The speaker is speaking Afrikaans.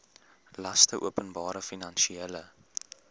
laste openbare finansiële